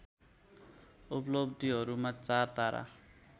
उपलब्धियहरूमा चार तारा